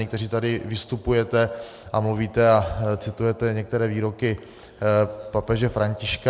Někteří tady vystupujete a mluvíte a citujete některé výroky papeže Františka.